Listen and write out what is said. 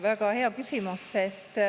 Väga hea küsimus.